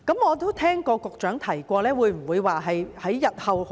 我都聽過局長提及不久後會進行研究。